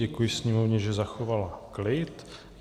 Děkuji sněmovně, že zachovala klid.